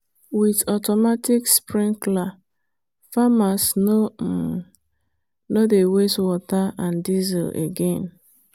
with automatic sprinkler farmers no um dey waste water and diesel again.